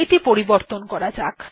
এটি পরিবর্তন করা যাক